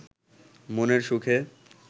মনের সুখে